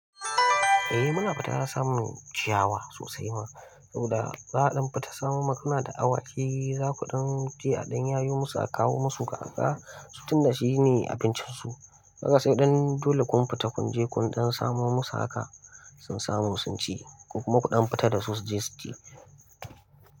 Eh mana fita samun ciyawa sosai ma, saboda za'aɗan fita samu ma muna da awaki za kuɗan je aɗan yayo musu a kawo musu kaga, su tun da shi ne abincin su. Haka sai ɗan dole kun fita kun je kun ɗan samo musu haka, sun samu sun ci. Ko kuma kuɗan fita da su su je su ci.